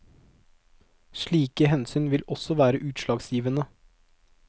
Slike hensyn vil også være utslagsgivende.